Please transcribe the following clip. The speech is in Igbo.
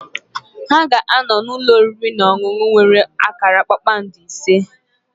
Ha ga-anọ n'ụlọ oriri na ọṅụṅụ nwere akara kpakpando ise.